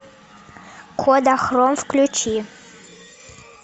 кодахром включи